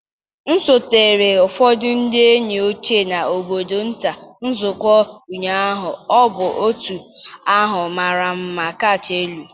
M zutere ụfọdụ ndị enyi ochie na obodo nta nzukọ ụnyaahụ. Ọ bụ otú ahụ mara mma catch elu.